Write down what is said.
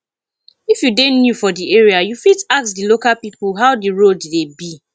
if you dey new for di area you fit ask di local pipo how di road dey be